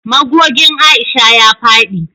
Magogin Aisha ya fadi